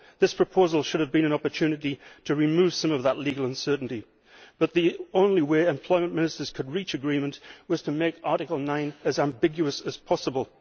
This proposal should have been an opportunity to remove some of that legal uncertainty, but the only way Employment Ministers could reach agreement was to make Article 9 as ambiguous as possible.